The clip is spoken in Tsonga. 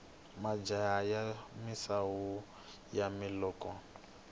majaha ya misawu yani nokoto